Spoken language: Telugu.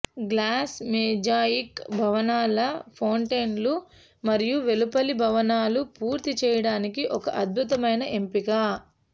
గ్లాస్ మొజాయిక్ భవనాల ఫౌంటైన్లు మరియు వెలుపలి భవనాలు పూర్తి చేయడానికి ఒక అద్భుతమైన ఎంపిక